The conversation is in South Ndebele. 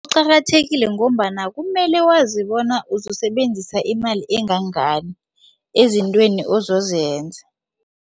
Kuqakathekile ngombana kumele wazi bona uzokusebenzisa imali engangani ezintweni ozozenza.